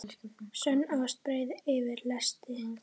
Sönn ást breiðir yfir lesti.